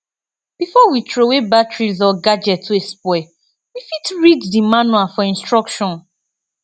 before we trowey batteries or gadget wey spoil we fit read di manual for instruction